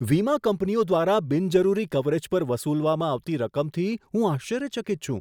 વીમા કંપનીઓ દ્વારા બિનજરૂરી કવરેજ પર વસૂલવામાં આવતી રકમથી હું આશ્ચર્યચકિત છું.